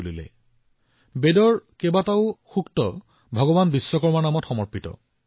সৃষ্টিৰ সকলো মহান ৰচনা যিমানবোৰ নতুন আৰু মহান কাম কৰা হৈছে আমাৰ শাস্ত্ৰত ভগৱান বিশ্বকৰ্মাক কৃতিত্ব দিয়া হয়